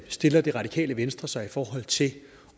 stiller det radikale venstre sig til at